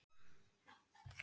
Hölkná